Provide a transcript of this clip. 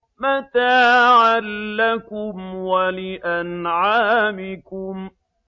مَتَاعًا لَّكُمْ وَلِأَنْعَامِكُمْ